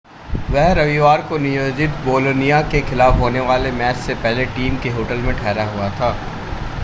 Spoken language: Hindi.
वह रविवार को नियोजित बोलोनिया के खिलाफ होने वाले मैच से पहले टीम के होटल में ठहरा हुआ था